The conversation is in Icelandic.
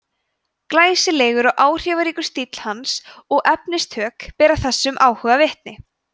glæsilegur og áhrifaríkur stíll hans og efnistök bera þessum áhuga vitni